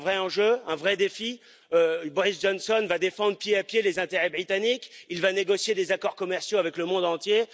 C'est un vrai enjeu, un vrai défi Boris Johnson va défendre pied à pied les intérêts britanniques et il va négocier des accords commerciaux avec le monde entier.